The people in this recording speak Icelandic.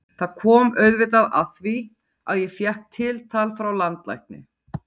Það kom auðvitað að því að ég fékk tiltal frá landlækni.